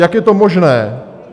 Jak je to možné?